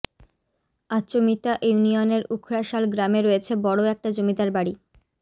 আচমিতা ইউনিয়নের উখড়াশাল গ্রামে রয়েছে বড় একটা জমিদার বাড়ি